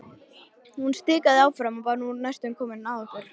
Hún stikaði áfram og var nú komin næstum að okkur.